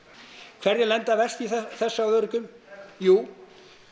hverjir lenda verst í þessu af öryrkjum jú